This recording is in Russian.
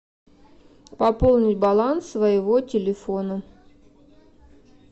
пополнить баланс своего телефона